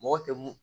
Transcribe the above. Mɔgɔ tɛ mun